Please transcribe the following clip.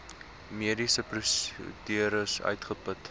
mediese prosedures uitgeput